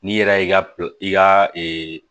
N'i yɛrɛ y'i ka i ka